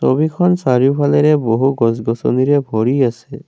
ছবিখন চাৰিওফালেৰে বহু গছ গছনিৰে ভৰি আছে।